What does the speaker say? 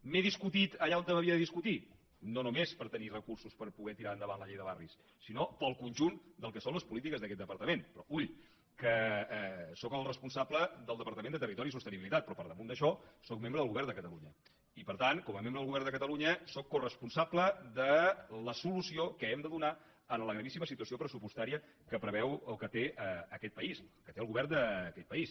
m’he discutit allà on m’havia de discutir no només per tenir recursos per poder tirar endavant la llei de barris sinó pel conjunt del que són les polítiques d’aquest departament però ull que sóc el responsable del departament de territori i sostenibilitat però per damunt d’això sóc membre del govern de catalunya i per tant com a membre del govern de catalunya sóc coresponsable de la solució que hem de donar a la gravíssima situació pressupostària que preveu o que té aquest país que té el govern d’aquest país